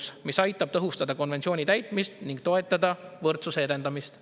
See seadus aitab tõhustada konventsiooni täitmist ning toetada võrdsuse edendamist.